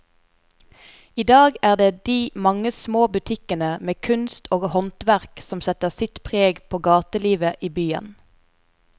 I dag er det de mange små butikkene med kunst og håndverk som setter sitt preg på gatelivet i byen.